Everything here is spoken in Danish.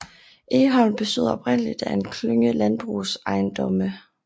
Egholm bestod oprindeligt af en klynge landbrugsejendomme